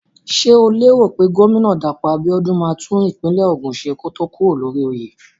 Ṣé o lérò pé gómínà Dàpọ̀ Abíọ́dún máa tún ìpínlẹ̀ Ògùn ṣe kó tó kúrò lórí oyè?